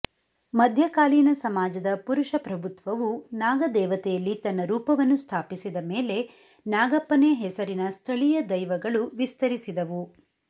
ಮಧ್ಯಕಾಲೀನ ಸಮಾಜದ ಪುರುಷ ಪ್ರಭುತ್ವವು ನಾಗದೇವತೆಯಲ್ಲಿ ತನ್ನ ರೂಪವನ್ನು ಸ್ಥಾಪಿಸಿದ ಮೇಲೆ ನಾಗಪ್ಪನೆ ಹೆಸರಿನ ಸ್ಥಳೀಯ ದೈವಗಳು ವಿಸ್ತರಿಸಿದವು